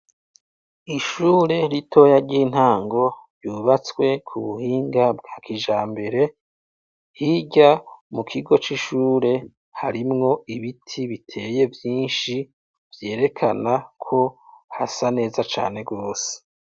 Ishure ritoya ry'intango ryubatswe ku buhinga bwa kijambere, hirya mu kigo c'ishure harimwo ibiti biteye vyinshi vyerekana ko hasa neza cane rwose.